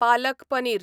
palak paneer